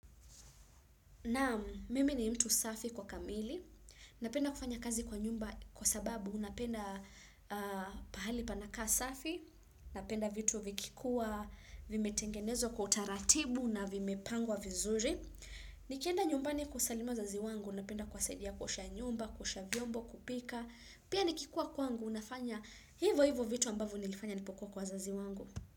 Naam, mimi ni mtu safi kwa kamili, napenda kufanya kazi kwa nyumba kwa sababu napenda pahali panakaa safi, napenda vitu vikikuwa, vimetengenezwa kwa utaratibu na vimepangwa vizuri. Nikienda nyumbani kusalimia wazazi wangu, napenda kuwasaidia kuosha nyumba, kuosha vyombo, kupika. Pia nikikuwa kwangu, nafanya hivo hivo vitu ambavyo nilifanya nilipokuwa kwa wazazi wangu.